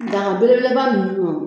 Daga belebeleba ninnu wa